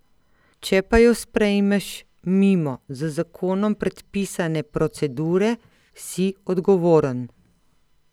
Če pa jo sprejmeš mimo z zakonom predpisane procedure, si odgovoren.